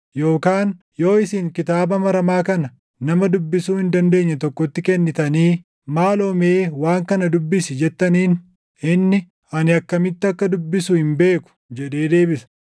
Yookaan yoo isin kitaaba maramaa kana nama dubbisuu hin dandeenye tokkotti kennitanii, “Maaloo mee waan kana dubbisi” jettaniin inni, “Ani akkamitti akkan dubbisu hin beeku” jedhee deebisa.